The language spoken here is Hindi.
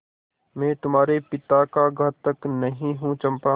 मैं तुम्हारे पिता का घातक नहीं हूँ चंपा